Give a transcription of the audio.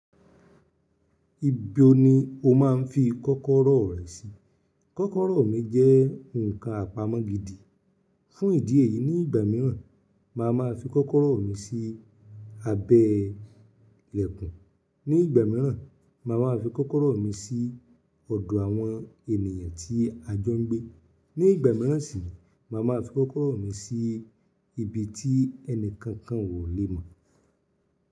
Ibo ni o máa ń fi kọ́kọ́rọ́ rẹ sí? Kọ́kọ́rọ́ mi jẹ́ ǹkan àpamọ́ gidi. Fún ìdí èyí, ní ìgbà mìíràn, màá máa fi kọ́kọ́rọ́ mi sí abẹ́ ìlẹ̀kùn. Ní ìgbà mìíràn, màá máa fi kọ́kọ́rọ́ mi sí ọ̀dọ̀ àwọn ènìyàn tí a jọ ń gbé. Ní ìgbà mìíràn sì, màá máa fi kọ́kọ́rọ́ mi sí ibi tí ẹni kankan ò lè mọ̀.